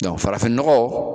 farafin nɔgɔ